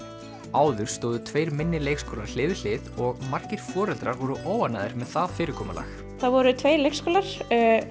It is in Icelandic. áður stóðu tveir minni leikskólar hlið við hlið og margir foreldrar voru óánægðir með það fyrirkomulag það voru tveir leikskólar